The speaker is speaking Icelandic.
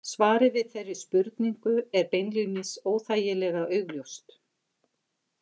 Svarið við þeirri spurningu er beinlínis óþægilega augljóst.